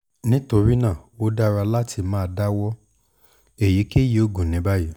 nitorina o dara lati ma dawọ eyikeyi oogun ni bayi